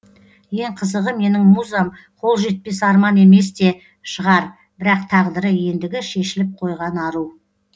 ең қызығы менің музам қол жетпес арман емес те шығар бірақ тағдыры ендігі шешіліп қойған ару